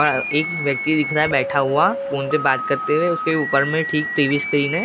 एक व्यक्ति दिख रहा हैं बैठा हुआ फ़ोन पे बात करते हुए उसके ऊपर में ठीक टीवी स्क्रीन हैं।